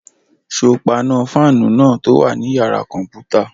Ṣé o paná fáànù náà tó wà ní yàrá-kọ̀mpútà?